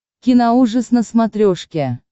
киноужас на смотрешке